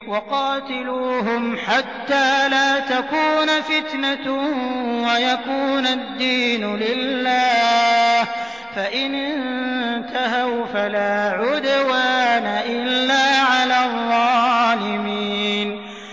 وَقَاتِلُوهُمْ حَتَّىٰ لَا تَكُونَ فِتْنَةٌ وَيَكُونَ الدِّينُ لِلَّهِ ۖ فَإِنِ انتَهَوْا فَلَا عُدْوَانَ إِلَّا عَلَى الظَّالِمِينَ